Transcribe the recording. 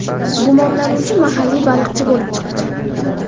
Gumonlanuvchi mahalliy baliqchi bo‘lib chiqdi.